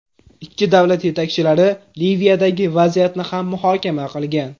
Ikki davlat yetakchilari Liviyadagi vaziyatni ham muhokama qilgan.